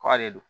Kura de don